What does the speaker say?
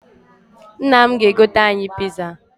Nna m ga-egoter anyị̣ piza